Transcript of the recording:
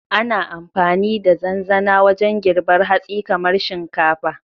Ana amfani da zanzana wajen girbar hatsi kamar shinkafa.